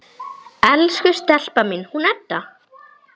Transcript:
Elsku stelpan mín, hún Edda!